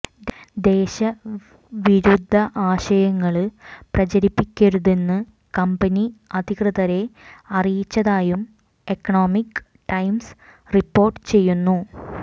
ദേശ വിരുദ്ധ ആശയങ്ങള് പ്രചരിപ്പിക്കരുതെന്ന് കമ്പനി അധികൃതരെ അറിയിച്ചതായും എകണോമിക് ടൈംസ് റിപ്പോര്ട്ട് ചെയ്യുന്നു